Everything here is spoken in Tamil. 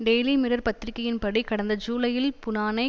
டெயிலி மிரர் பத்திரிகையின் படி கடந்த ஜூலையில் புனானை